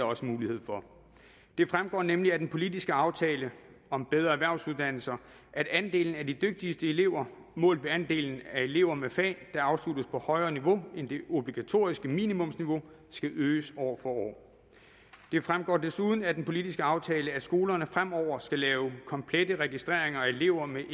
også mulighed for det fremgår nemlig af den politiske aftale om bedre erhvervsuddannelser at andelen af de dygtigste elever målt ved andelen af elever med fag der afsluttes på højere niveau end det obligatoriske minimumsniveau skal øges år for år det fremgår desuden af den politiske aftale at skolerne fremover skal lave komplette registreringer af elever med